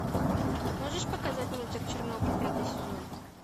можешь показать мультик чернобыль пятый сезон